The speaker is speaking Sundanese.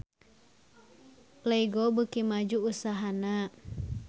Lego beuki maju usahana